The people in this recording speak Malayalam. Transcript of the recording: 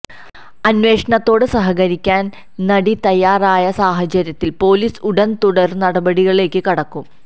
അന്വേഷണത്തോട് സഹകരിക്കാന് നടി തയ്യാറായ സാഹചര്യത്തില് പൊലീസ് ഉടന് തുടര് നടപടികളിലേക്ക് കടക്കും